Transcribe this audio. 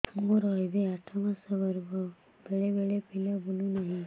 ମୋର ଏବେ ଆଠ ମାସ ଗର୍ଭ ବେଳେ ବେଳେ ପିଲା ବୁଲୁ ନାହିଁ